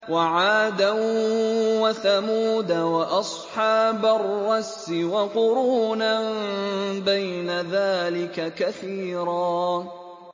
وَعَادًا وَثَمُودَ وَأَصْحَابَ الرَّسِّ وَقُرُونًا بَيْنَ ذَٰلِكَ كَثِيرًا